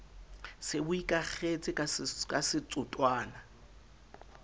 se bo ikakgetse ka setotswana